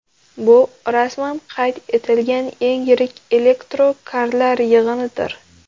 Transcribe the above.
Bu rasman qayd etilgan eng yirik elektrokarlar yig‘inidir.